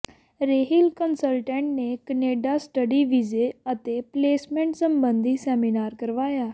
Rehil consultant ਨੇ Canada study ਵੀਜ਼ੇ ਅਤੇ ਪਲੇਸਮੈਂਟ ਸਬੰਧੀ ਸੈਮੀਨਾਰ ਕਰਵਾਇਆ